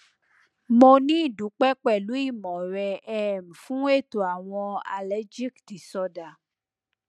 mo ni idupe pẹlú ìmọ rẹ um fún ètò àwọn allergic disorder